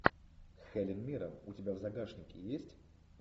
хелен миррен у тебя в загашнике есть